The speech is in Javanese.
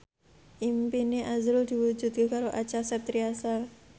impine azrul diwujudke karo Acha Septriasa